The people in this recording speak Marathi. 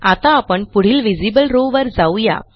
आता आपण पुढील व्हिजिबल रॉव वर जाऊ या